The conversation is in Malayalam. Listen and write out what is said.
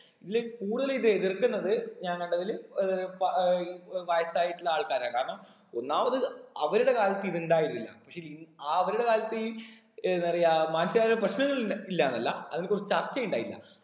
ഇതിൽ കൂടുതൽ ഇത് എതിർക്കുന്നത് ഞാൻ കണ്ടതില് ഏർ പ ഏർ വയസ്സായിട്ടുള്ള ആൾക്കാരാണ് കാരണം ഒന്നാമത് അവരുടെ കാലത്ത് ഇത് ഉണ്ടായിരുന്നില്ല പക്ഷെ ഇന്ന് അവരുടെ കാലത്ത് ഈ എതറിയാ മാനസികമായി പ്രശ്നങ്ങൾ ഇല്ല ഇല്ലാന്നല്ല അതിന് കുറിച്ച് ചർച്ച ഉണ്ടായില്ല